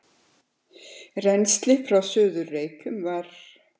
Rennslið frá Suður-Reykjum var